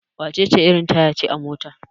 wacece irin Taya ce a motar?